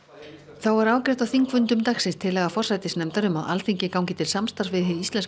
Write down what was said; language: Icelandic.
þá var afgreidd á þingfundum dagsins tillaga forsætisnefndar um að Alþingi gangi til samstarfs við Hið íslenska